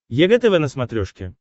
егэ тв на смотрешке